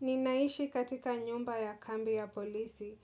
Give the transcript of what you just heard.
Ninaishi katika nyumba ya kambi ya polisi.